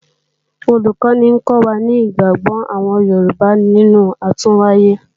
Olùkọ́ni ń kọ́ wa ní ìgbàgbọ́ àwọn Yorùbá nínú àtúnwáyé